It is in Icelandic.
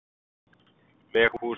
Veghúsum